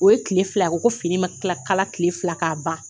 O ye tile fila u ko fini ma tila kala tile fila k'a ban